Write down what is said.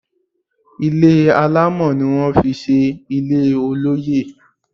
Ilé alámọ̀ ni wón fi ṣe ilé olóyè.